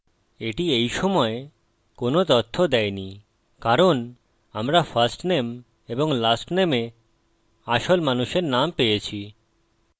এটি এইসময় কোনো তথ্য দেয়নি কারণ আমরা firstname এবং lastname এ আসল মানুষের নাম পেয়েছি